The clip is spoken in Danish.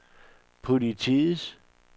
politiets